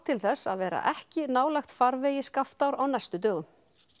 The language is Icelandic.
til þess að vera ekki nálægt farvegi Skaftár á næstu dögum